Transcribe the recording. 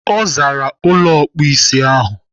Ọ zaara ụlọ ọkpụisi ahụ.